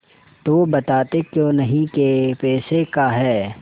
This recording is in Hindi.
तो बताते क्यों नहीं कै पैसे का है